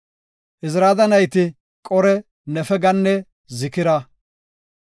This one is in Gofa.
Izarada nayti, Qore, Nefeganne Zikira.